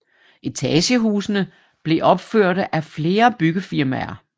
Etagehusene blev opførte af flere byggefirmaer